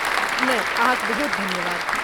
नहि, अहाँक बहुत धन्यवाद।